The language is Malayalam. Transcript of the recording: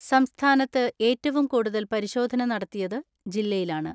സംസ്ഥാനത്ത് ഏറ്റവും കൂടുതൽ പരിശോധന നടത്തിയത് ജില്ലയിലാണ്.